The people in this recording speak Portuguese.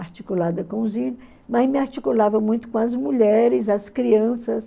articulada com os índios, mas me articulava muito com as mulheres, as crianças.